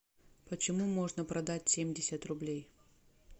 почему можно продать семьдесят рублей